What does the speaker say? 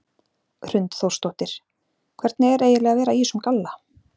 Hrund Þórsdóttir: Hvernig er eiginlega að vera í þessum galla?